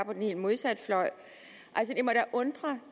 på den helt modsatte fløj